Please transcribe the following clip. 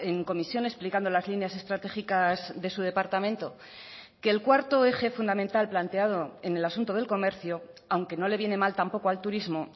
en comisión explicando las líneas estratégicas de su departamento que el cuarto eje fundamental planteado en el asunto del comercio aunque no le viene mal tampoco al turismo